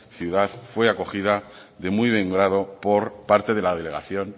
ciudad fue acogida de muy buen grado por parte de la delegación